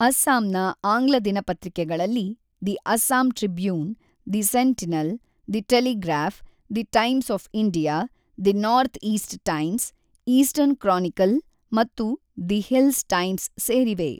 ಅಸ್ಸಾಂನ ಆಂಗ್ಲ ದಿನಪತ್ರಿಕೆಗಳಲ್ಲಿ the Assam Tribune, the Sentinel, the Telegraph, the Times of India, the North East Times, Eastern Chronicle ಮತ್ತು the Hills Times ಸೇರಿವೆ.